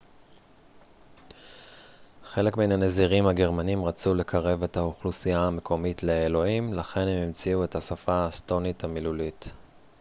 חלק מן הנזירים הגרמנים רצו לקרב את האוכלוסייה המקומית לאלוהים לכן הם המציאו את השפה האסטונית המילולית